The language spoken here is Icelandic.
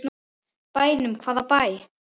Bænum, hvaða bæ?